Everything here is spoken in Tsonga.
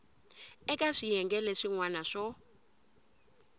eka swiyenge leswin wana swo